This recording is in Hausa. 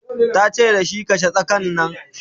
tace da shi "kashe tsakan Nan!"